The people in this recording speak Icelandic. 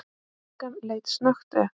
Stúlkan leit snöggt upp.